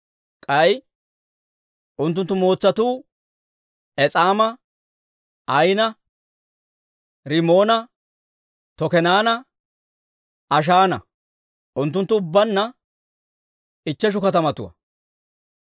K'ay unttunttu mootsatuu Es'aama, Ayina, Rimoona, Tokeenanne Ashaana. Unttunttu ubbaanna ichcheshu katamatuwaa.